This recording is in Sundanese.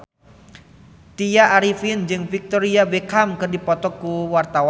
Tya Arifin jeung Victoria Beckham keur dipoto ku wartawan